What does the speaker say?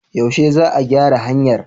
Yaushe za a gyara hanyar?